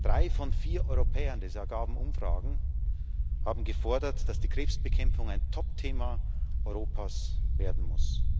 Drei von vier Europäern das ergaben Umfragen haben gefordert, dass die Krebsbekämpfung ein Topthema Europas werden muss.